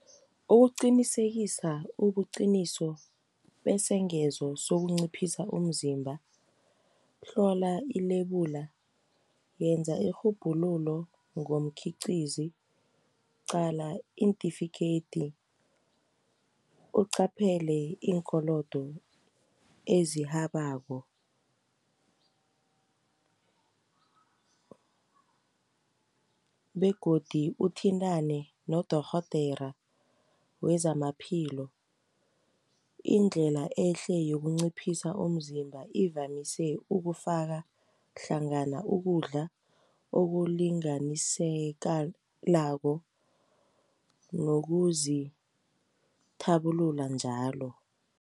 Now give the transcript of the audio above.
Ukuqinisekisa ubuqiniso besengezo sokunciphisa umzimba, hlola ilebula. Yenza irhubhululo ngomkhiqizi, qala iintifikheyidi. Uqaphele iinkolodo ezihabako , begodu uthintane nodorhodera wezamaphilo, Indlela ehle yokunciphisa umzimba ivamise ukufaka hlangana ukudla okulinganisekalako nozithabulula njalo.